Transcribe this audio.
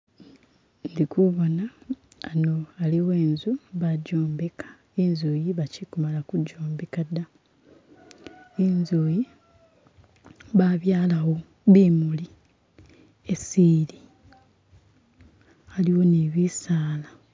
Indi kuboona hano haliwo inzu bajombeka inzu iyi bachikumala kujombeka da inzu yi babyalawo bimuli esi ili haliwo ni bisaala.